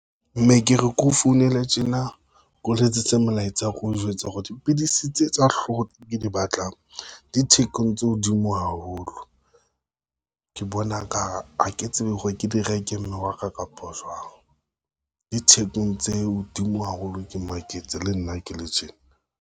Mme ke re keo founela tjena, ke o letsetse molaetsa ko o njwetse hore dipidisi tse tsa hlooho tse ke di batlang di thekong tse hodimo haholo, ke bona ka ha ke tsebe hore ke di reke mme wa ka kapa jwang. Di thekong tse hodimo haholo ke maketse le nna ke le tjena.